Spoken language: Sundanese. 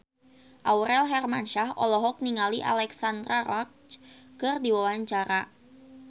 Aurel Hermansyah olohok ningali Alexandra Roach keur diwawancara